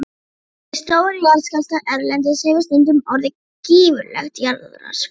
Við stóra jarðskjálfta erlendis hefur stundum orðið gífurlegt jarðrask.